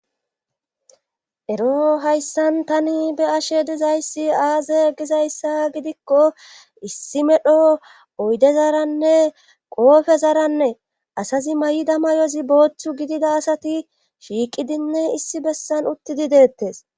ero hayssan tani be ashe dizayssi aaze gizayssa gidikko issi medho oydezaranne qoofe zaranne asazi may7ida mayozi boochchu gidida asati shiiqidinne issi bessan uttidi deettes